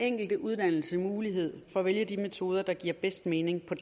enkelte uddannelse mulighed for at vælge de metoder der giver bedst mening på